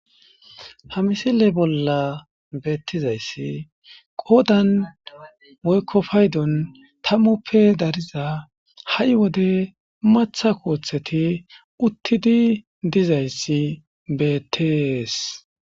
Ha misile bolla beettizayssi qoodan woykkofaydon tammuppe dariza ha7i wode matha kooththeti uttidi dizayssi beettees.